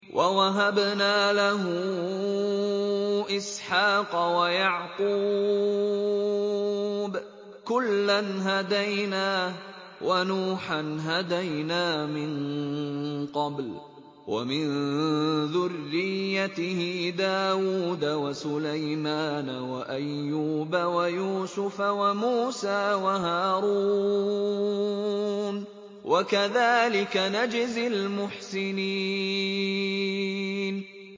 وَوَهَبْنَا لَهُ إِسْحَاقَ وَيَعْقُوبَ ۚ كُلًّا هَدَيْنَا ۚ وَنُوحًا هَدَيْنَا مِن قَبْلُ ۖ وَمِن ذُرِّيَّتِهِ دَاوُودَ وَسُلَيْمَانَ وَأَيُّوبَ وَيُوسُفَ وَمُوسَىٰ وَهَارُونَ ۚ وَكَذَٰلِكَ نَجْزِي الْمُحْسِنِينَ